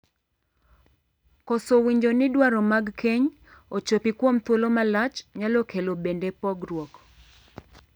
Koso winjo ni dwaro mag keny ochopi kuom thuolo malach nyalo kelo bende pogruok.